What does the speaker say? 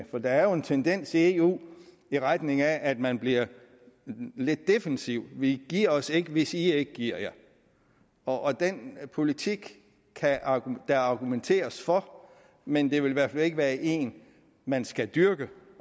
for der er jo en tendens i eu i retning af at man bliver lidt defensiv vi giver os ikke hvis i ikke giver jer og den politik kan der argumenteres for men det vil i hvert fald ikke være en man skal dyrke